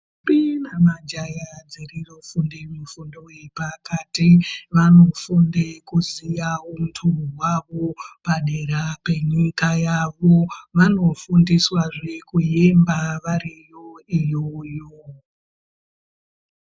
Ntombi nemajaya dzinofunda mifundo zvepakati vanofunda kuziva hunhu wavo padera penyika yavo vanofundiswa zve kuemba vari kona iyoyo